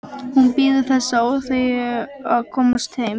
Hún bíður þess með óþreyju að komast heim.